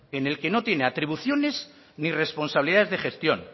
en el que no tiene atribuciones ni responsabilidades de gestión